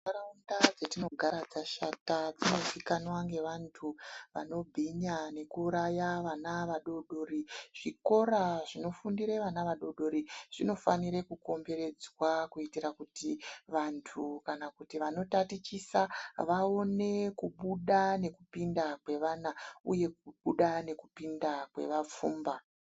Nharaunda dzatinogara dzashata dzinozikanwa nevanhu vanobhinya nekuraya vana vadodori, zvikora zvinofundira vana vadodori zvinofanire kukomberedzwa kuitira kuti wandu kana wanotatichisa vaone nekubuda nekupinda kwevanhu uye kubuda nekupinda kweva pfumba.